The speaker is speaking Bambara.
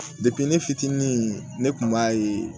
ne fitinin ne kun b'a ye